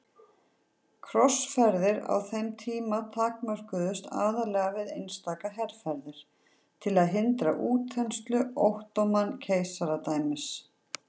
Krossferðir á þeim tíma takmörkuðust aðallega við einstaka herferðir til að hindra útþenslu Ottóman-keisaradæmisins.